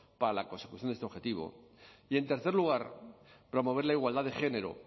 para la consecución de este objetivo y en tercer lugar promover la igualdad de género